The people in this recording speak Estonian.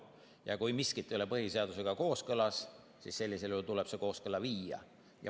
Ja kui miski ei ole põhiseadusega kooskõlas, siis tuleb see kooskõlla viia.